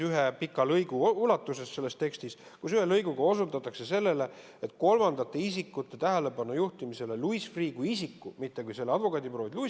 Ühe pika lõigu ulatuses osutatakse selles tekstis kolmandate isikute tähelepanujuhtimisele Louis Freeh' kui isiku, mitte selle advokaadibüroo mainele.